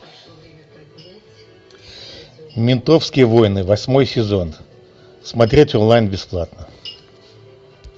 ментовские войны восьмой сезон смотреть онлайн бесплатно